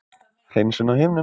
hreinsun á himnum.